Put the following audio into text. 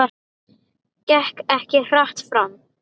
Gekk hart fram.